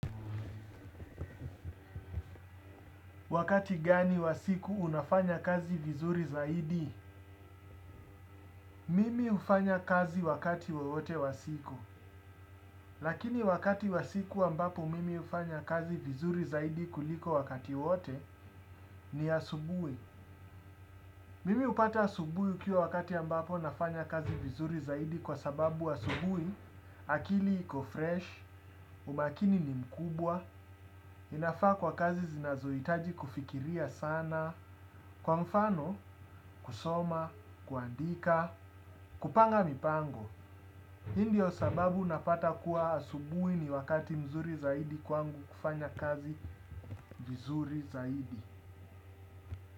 Wakati gani wasiku unafanya kazi vizuri zaidi? Mimi hufanya kazi wakati wowote wasiku. Lakini wakati wasiku ambapo mimi ufanya kazi vizuri zaidi kuliko wakati wote ni asubui. Mimi hupata asubui ukiwa wakati ambapo nafanya kazi vizuri zaidi kwa sababu asubui, akili iko fresh, umakini ni mkubwa, inafaa kwa kazi zinazoitaji kufikiria sana, kwa mfano, kusoma, kuandika, kupanga mipango hii ndio sababu napata kuwa asubui ni wakati mzuri zaidi kwangu kufanya kazi vizuri zaidi.